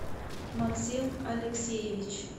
максим алексеевич